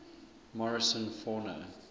morrison fauna